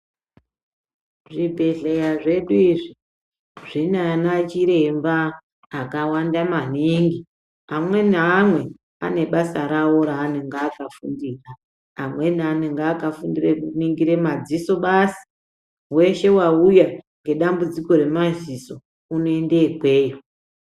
Zvibhehleya zvedu izvi zvinana chiremba akawanda maningi. Amwe neamwe anebasa rawo raanenge akafundira. Amweni anenge akafundira kuningira madziso basi. Weshe wauya ngedambudziko remadziso unoende ikweyo.